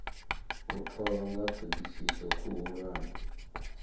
u tholwa ha thodisiso khuhulwane